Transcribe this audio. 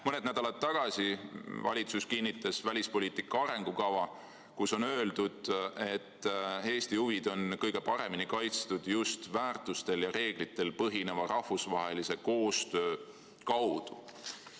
Mõned nädalad tagasi kinnitas valitsus välispoliitika arengukava, kus on öeldud: "Eesti huvid on kõige paremini kaitstud just väärtustel ja reeglitel põhineva rahvusvahelise koostöö kaudu.